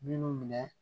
Minnu minɛ